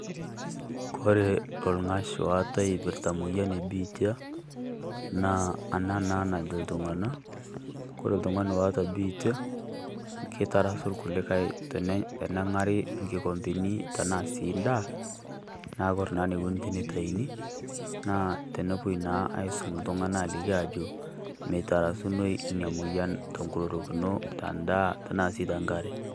Kore ong'ash ootae eipirrta moyian ebiitia, naa ana naa najo iltung'ana kore iltung'ani oota biitia ketarasu kulikai tenang'ari kikombeni tana sii ndaa. Naa kore naikoni tenetaini naa tenepoi naa aisom iltung'ana alikini ajo meitarasunoi nia moyian to nkorokino te ndaa tana si te nkaree.